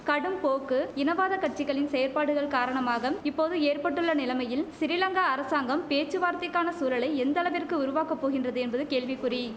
கடும் போக்கு இனவாத கட்சிகளின் செயற்பாடுகள் காரணமாகம் இப்போது ஏற்பட்டுள்ள நிலமையில் சிறிலங்கா அரசாங்கம் பேச்சுவார்த்தைக்கான சூழலை எந்தளவிற்கு உருவாக்க போகின்றது என்பது கேள்விக்குறி